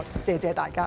謝謝大家。